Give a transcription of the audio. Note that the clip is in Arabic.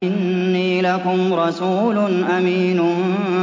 إِنِّي لَكُمْ رَسُولٌ أَمِينٌ